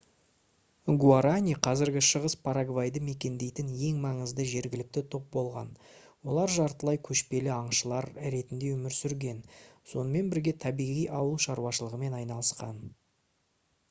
гуарани қазіргі шығыс парагвайды мекендейтін ең маңызды жергілікті топ болған олар жартылай көшпелі аңшылар ретінде өмір сүрген сонымен бірге табиғи ауыл шаруашылығымен айналысқан